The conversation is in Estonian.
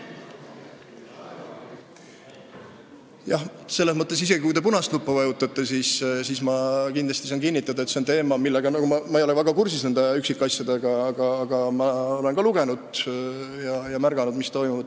Selles mõttes, isegi kui te punast nuppu vajutate, ma saan kinnitada, et see on teema, mille üksikasjadega ma ei ole väga kursis, kuigi olen ka lugenud ja märganud, mis toimub.